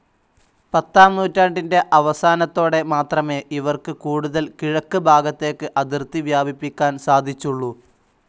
പത്താം നൂറ്റാണ്ടിൻ്റെ അവസാനത്തോടെ മാത്രമേ ഇവർക്ക് കൂടുതൽ കിഴക്ക് ഭാഗത്തേക്ക് അതിർത്തി വ്യാപിപ്പിക്കാൻ സാധിച്ചുള്ളൂ.